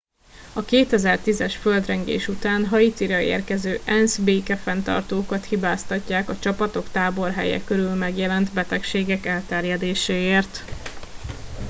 a 2010 es földrengés után haitira érkező ensz békefenntartókat hibáztatják a csapatok táborhelye körül megjelent betegség elterjedéséért